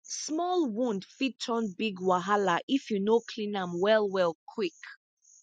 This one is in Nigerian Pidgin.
small wound fit turn big wahala if you no clean am well well quick